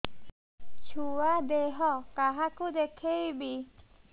ଛୁଆ ଦେହ କାହାକୁ ଦେଖେଇବି